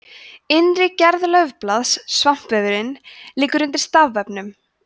innri gerð laufblaðs svampvefurinn liggur undir stafvefnum